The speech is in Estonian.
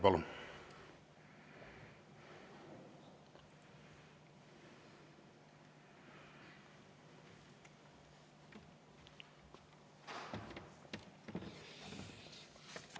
Palun!